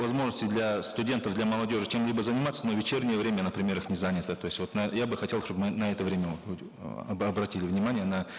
возможности для студентов для молодежи чем либо заниматься но вечернее время например их не занято то есть вот я бы хотел чтобы на это время обратили внимание на